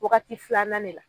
Wagati filanan de la.